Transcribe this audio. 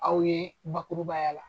Aw ye bakurubaya la.